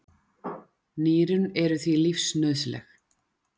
Nýrun eru því lífsnauðsynleg.